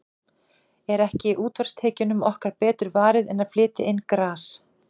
Er ekki útsvarstekjunum okkar betur varið en að flytja inn gras?